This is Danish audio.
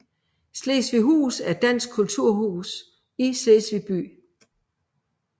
Slesvighus er et dansk kulturhus i Slesvig by